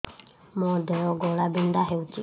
ମୋ ଦେହ ଘୋଳାବିନ୍ଧା ହେଉଛି